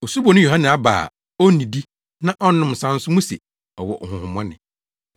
Osuboni Yohane aba a onnidi na ɔnnom nsa nso muse, ‘Ɔwɔ honhommɔne.’